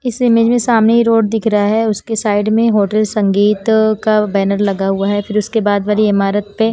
इस इमेज में सामने ही रोड दिख रहा है उसके साइड में होटल संगीत का बैनर लगा हुआ है फिर उसके बाद वाली इमारत पे --